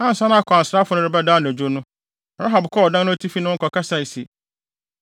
Ansa na akwansrafo no rebɛda anadwo no, Rahab kɔɔ ɔdan no atifi ne wɔn kɔkasae se,